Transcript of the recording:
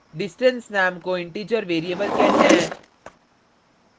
distance name को integer variable कहते हैं